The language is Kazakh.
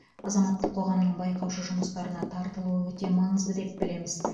азаматтық қоғамның байқаушы жұмыстарына тартылуы өте маңызды деп білеміз